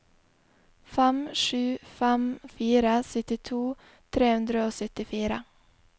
fem sju fem fire syttito tre hundre og syttifire